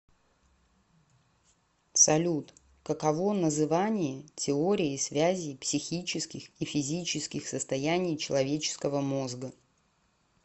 салют каково называние теории связей психических и физических состояний человеческого мозга